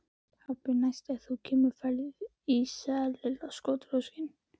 Pabbi, næst þegar þú kemur færðu ís sagði Lilla kotroskin.